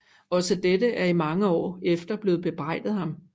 Også dette er i mange år efter blevet bebrejdet ham